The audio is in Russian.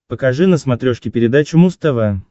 покажи на смотрешке передачу муз тв